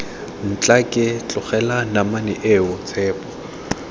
ntlhake tlogela namane eo tshepo